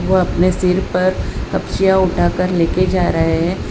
वो अपने सिर पर तपचीया उठाकर लेके जा रहे हैं।